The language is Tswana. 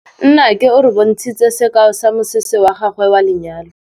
Nnake o re bontshitse sekaô sa mosese wa gagwe wa lenyalo.